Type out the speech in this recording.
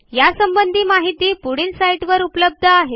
यासंबंधी माहिती पुढील साईटवर उपलब्ध आहे